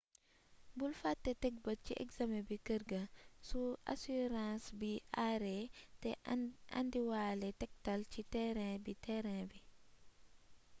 bul fate teg bët si examen bi kërga su asurãns bi aare te indiwale tektal si terain bi terain bi